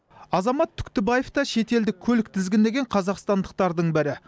азамат түктібаев та шетелдік көлік тізгіндеген қазақстандықтардың бірі